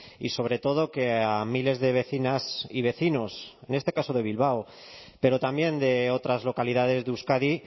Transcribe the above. y sobre todo que a miles de vecinas y vecinos en este caso de bilbao pero también de otras localidades de euskadi